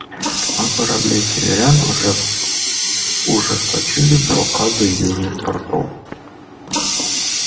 а корабли северян уже ужесточили блокаду южных портов